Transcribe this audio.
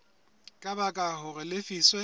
ka baka hore a lefiswe